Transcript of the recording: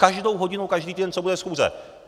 Každou hodinu každý den, co bude schůze.